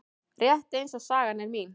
Rétt eins og sagan er mín.